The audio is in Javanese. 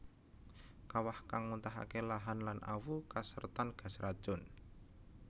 Kawah kang muntahake lahan lan awu kasertan gas racun